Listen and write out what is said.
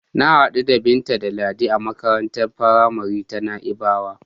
Na hadu da Binta da Ladi a makarantar faramari ta Na'ibawa.